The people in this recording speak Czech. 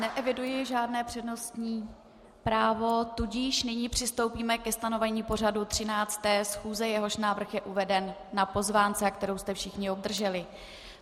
Neeviduji žádné přednostní právo, tudíž nyní přistoupíme ke stanovení pořadu 13. schůze, jehož návrh je uveden na pozvánce, kterou jste všichni obdrželi.